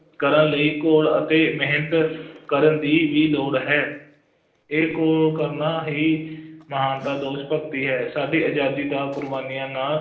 ਕਰਨ ਲਈ ਘੋਲ ਅਤੇ ਮਿਹਨਤ ਕਰਨ ਦੀ ਵੀ ਲੋੜ ਹੈ, ਇਹ ਘੋਲ ਕਰਨਾ ਹੀ ਮਹਾਨਤਾ ਦੇਸ਼ ਭਗਤੀ ਹੈ, ਸਾਡੀ ਆਜ਼ਾਦੀ ਦਾ ਕੁਰਬਾਨੀਆਂ ਨਾ